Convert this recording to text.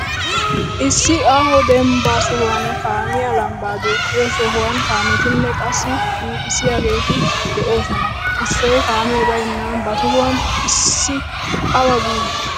Issi aaho dembbaa sohuwan kaamiya lambbaa duuqqiyo sohuwan kaametinee qassi duuqissiyaageeto de'oosona. Issoy kaamee bayinan ba tohuwan issi awa bii?